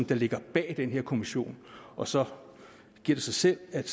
der ligger bag den her kommission og så giver det sig selv at